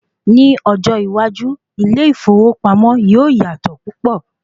Ní ọjọ́ iwájú, ilé ìfowópamọ́ yíò yàtọ̀ púpọ̀.